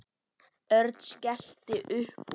Örn skellti upp úr.